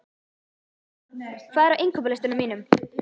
Hafnar, hvað er á innkaupalistanum mínum?